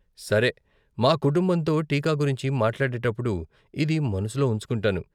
సరే, మా కుటుంబంతో టీకా గురించి మాట్లాడేటప్పుడు ఇది మనసులో ఉంచుకుంటాను.